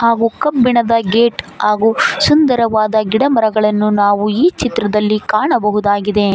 ಹಾಗೂ ಕಬ್ಬಿಣದ ಗೇಟ್ ಹಾಗೂ ಸುಂದರವಾದ ಗಿಡಮರಗಳನ್ನು ನಾವು ಈ ಚಿತ್ರದಲ್ಲಿ ಕಾಣಬಹುದಾಗಿದೆ.